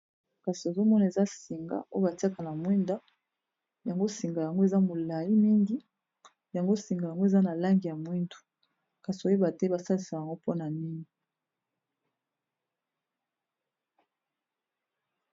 Kasi ozomona eza singa oyo batiaka na mwinda, yango singa yango eza molai mingi, yango singa yango eza na langi ya mwindu kasi oyeba te basalisa yango pona nini.